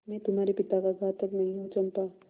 मैं तुम्हारे पिता का घातक नहीं हूँ चंपा